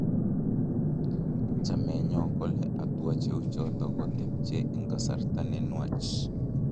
Chameenyo kole hatua cheuchoto kotepche eng kasarta ne nwach